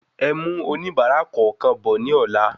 Ẹ mú oníbárà kọọkan bọ ní ola